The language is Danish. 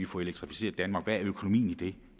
få elektrificeret danmark og hvordan økonomien i det